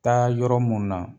Taa yɔrɔ mun na.